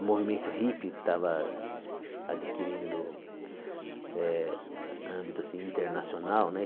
O movimento hippie estava adquirindo eh âmbito assim internacional, né?